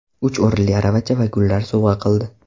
Uch o‘rinli aravacha va gullar sovg‘a qildi.